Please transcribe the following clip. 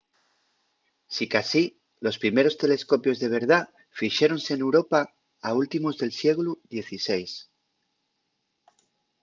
sicasí los primeros telescopios de verdá fixéronse n’europa a últimos del sieglu xvi